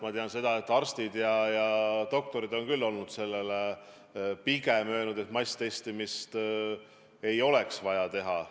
Ma tean, et arstid on pigem öelnud, et masstestimist ei oleks vaja teha.